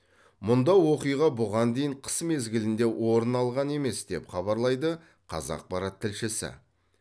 мұнда оқиға бұған дейін қыс мезгілінде орын алған емес деп хабарлайды қазақпарат тілшісі